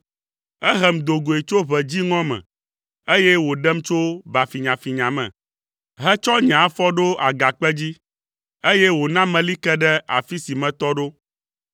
Ehem do goe tso ʋe dziŋɔ me, eye wòɖem tso ba finyafinya me, hetsɔ nye afɔ ɖo agakpe dzi, eye wòna meli ke ɖe afi si metɔ ɖo.